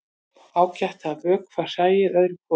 Ágætt er að vökva hræið öðru hvoru.